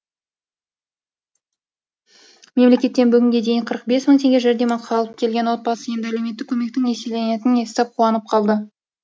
мемлекеттен бүгінге дейін қырық бес мың теңге жәрдемақы алып келген отбасы енді әлеуметтік көмектің еселенетінін естіп қуанып қалды